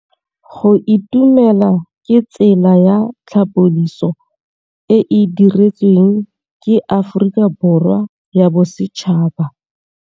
Go itumela ke tsela ya tlhapolisô e e dirisitsweng ke Aforika Borwa ya Bosetšhaba.